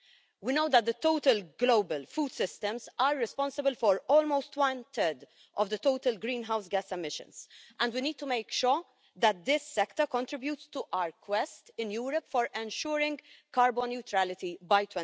We know that the total global food systems are responsible for almost one third of total greenhouse gas emissions, and we need to make sure that this sector contributes to our quest in Europe for ensuring carbon neutrality by